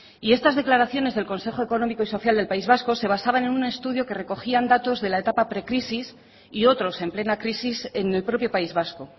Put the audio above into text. y estas declaraciones del consejo económico y social del país vasco se basaba en un estudio que recogían datos de la etapa precrisis y otros en plena crisis en el propio país vasco